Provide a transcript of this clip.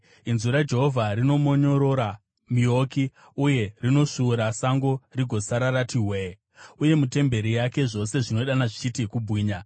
Inzwi raJehovha rinomonyorora miouki uye rinosvuura sango rigosara rati hwe-e. Uye mutemberi yake zvose zvinodana zvichiti, “Kubwinya!”